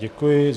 Děkuji.